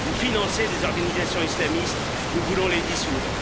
Vous financez des organisations islamistes, nous voulons les dissoudre.